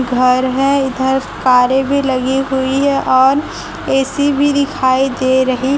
घर है इधर कारे भी लगी हुई है और ए_सी भी दिखाई दे रही--